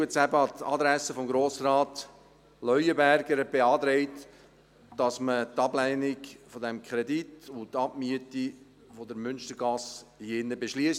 Jetzt eben an die Adresse von Grossrat Leuenberger: Er beantragt, dass man hier im Saal die Ablehnung dieses Kredits und die Abmiete der Münstergasse beschliesst.